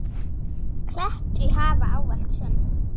klettur í hafi, ávallt sönn.